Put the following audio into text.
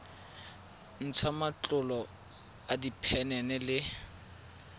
ntsha matlolo a diphenene le